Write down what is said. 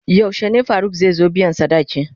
Yaushe ne Faruk zai zo biyan sadaki?